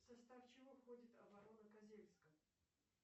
в состав чего входит оборона козельска